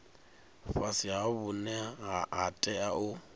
fhasisa vhune ha tea u